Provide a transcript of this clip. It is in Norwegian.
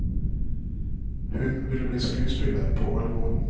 Hun ville bli skuespiller på alvor.